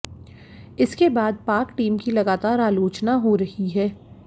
इसके बाद पाक टीम की लगातार आलोचना हो रही है